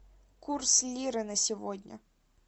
курс лиры на сегодня